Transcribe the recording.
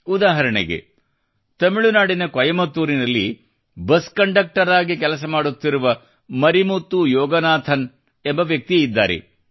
ಉದಾಹರಣೆಗೆ ತಮಿಳುನಾಡಿನ ಕೊಯಮತ್ತೂರಿನಲ್ಲಿ ಬಸ್ ಕಂಡಕ್ಟರ್ ಆಗಿ ಕೆಲಸ ಮಾಡುತ್ತಿರುವ ಮರಿಮುತ್ತು ಯೋಗನಾಥನ್ ಎಂಬ ವ್ಯಕ್ತಿ ಇದ್ದಾರೆ